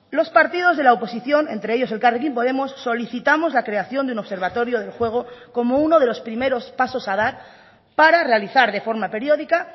los partidos de la oposición entre ellos elkarrekin podemos solicitamos la creación de un observatorio del juego como uno de los primeros pasos a dar para realizar de forma periódica